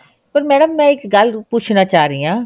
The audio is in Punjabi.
ਪਰ madam ਮੈਂ ਇੱਕ ਗੱਲ ਪੁੱਛਣਾ ਚਾਹ ਰਹੀ ਹਾਂ